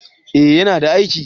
eh ya na aiki